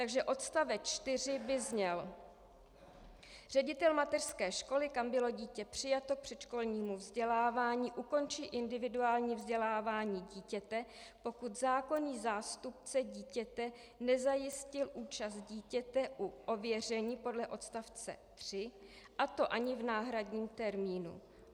Takže odstavec 4 by zněl: Ředitel mateřské školy, kam bylo dítě přijato k předškolnímu vzdělávání, ukončí individuální vzdělávání dítěte, pokud zákonný zástupce dítěte nezajistil účast dítěte u ověření podle odstavce 3, a to ani v náhradním termínu.